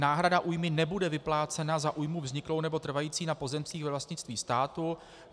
Náhrada újmy nebude vyplácena za újmu vzniklou nebo trvající na pozemcích ve vlastnictví státu.